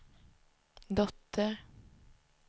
dotter